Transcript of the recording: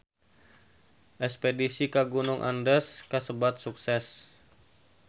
Espedisi ka Gunung Andes kasebat sukses